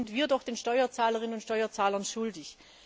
Das sind wir doch den Steuerzahlerinnen und Steuerzahlern schuldig!